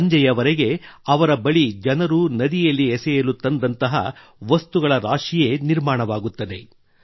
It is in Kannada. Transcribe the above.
ಸಂಜೆವರೆಗೆ ಅವರ ಬಳಿ ಜನರು ನದಿಯಲ್ಲಿ ಎಸೆಯಲು ತಂದಿರುವಂತಹ ವಸ್ತುಗಳ ರಾಶಿಯೇ ಸಿದ್ಧವಾಗುತ್ತದೆ